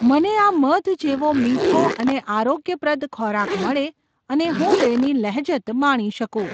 મને આ મધ જેવો મીઠો અને આરોગ્યપ્રદ ખોરાક મળે અને હું તેની લહેજત માણી શકું!